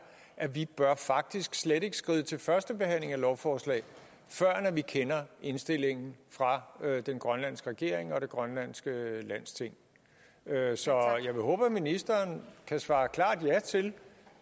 at vi faktisk slet ikke bør skride til første behandling af lovforslag førend vi kender indstillingen fra den grønlandske regering og det grønlandske landsting så jeg vil håbe at ministeren kan svare klart ja til